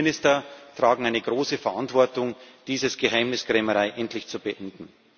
Und die Innenminister tragen eine große Verantwortung, diese Geheimniskrämerei endlich zu beenden.